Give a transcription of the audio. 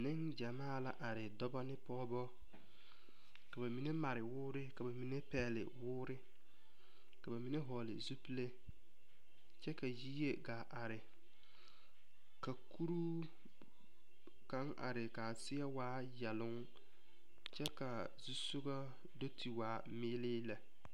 Neŋgyamaa la are dɔba ne pɔgeba ka ba mine mare wore ka ba mine pɛgele woore ka ba mine vɔgele zupile kyɛ ka yie gaa are ka kuroo kaŋa are kaa seɛ waa yɛloŋ kyɛ kaa zusoga do te waa meelii lɛ